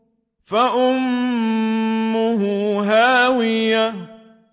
فَأُمُّهُ هَاوِيَةٌ